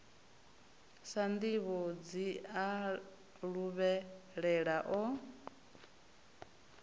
sa nnḓivhi a luvhelela o